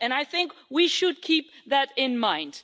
I think we should keep that in mind.